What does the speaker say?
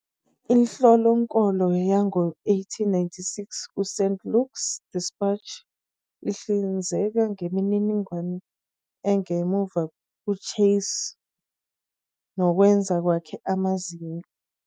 Inhlolokhono yango 1896 ku St. Louis Dispatch ihlinzeka ngemininingwane engemuva kuChase nokwenza kwakhe amazinyo.